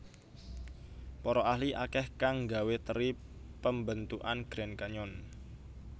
Para ahli akeh kang nggawe teri pembentukan Grand Canyon